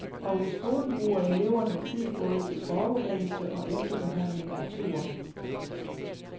Og i skolen bruger eleverne tid både til forberedelse og efterbehandling af turen.